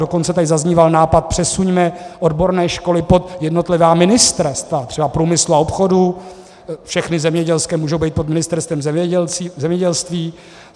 Dokonce tady zazníval nápad: přesuňme odborné školy pod jednotlivá ministerstva, třeba průmyslu a obchodu, všechny zemědělské můžou být pod Ministerstvem zemědělství.